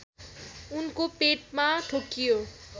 उनको पेटमा ठोक्कियो